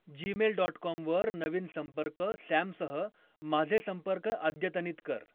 Gmail dot com वर नवीन संपर्क सॅमसह माझे संपर्क अद्यतनित कर